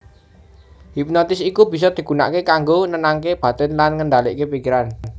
Hipnotis iku bisa digunakaké kanggo nenangaké batin lan ngendalikaké pikiran